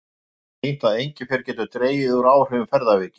Rannsóknir hafa sýnt að engifer getur dregið úr áhrifum ferðaveiki.